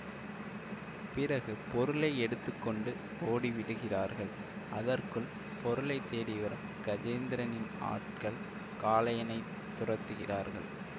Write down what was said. பிறகு பொருளை எடுத்து கொண்டு ஓடி விடுகிறார்கள் அதற்குள் பொருளை தேடி வரும் கஜேந்திரனின் ஆட்கள் காளையனைத் துரத்துகிறார்கள்